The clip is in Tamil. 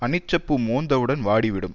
அனிச்சப்பூ மோந்தவுடன் வாடி விடும்